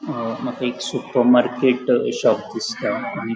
अ माका एक सूपरर्मार्केट अ शॉप दिसता.